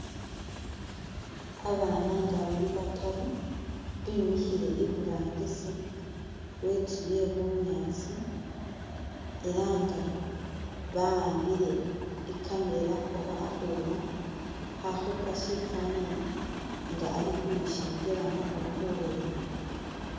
Babana nga bali bataru bimikhile iburangisi we itsu ye’bunyaasi ela nga bawambile i’camera oba akhuma khakhupa shifanani nga ali ukhwishengelamo oba khulolelamo .